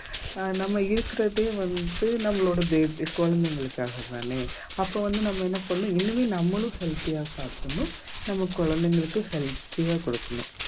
ஆஹ் நம்ம இருக்கிறதே வந்து நம்மளோட baby குழந்தைகளுக்காகதானே அப்ப வந்து நம்ம என்ன பண்ணணும் இனிமே நம்மளும் healthy ஆ சாப்பிடணும் நம்ம குழந்தைங்களுக்கு healthy யா கொடுக்கணும்